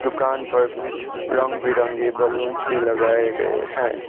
दुकान पर कुछ रंग बिरंगे बलूंस भी लगाए गए है।